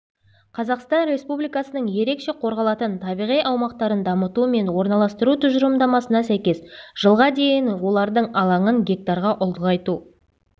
қазақстан республикасының ерекше қорғалатын табиғи аумақтарын дамыту мен орналастыру тұжырымдамасына сәйкес жылға дейін олардың алаңын гектарға ұлғайту